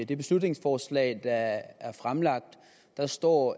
det beslutningsforslag der er fremsat står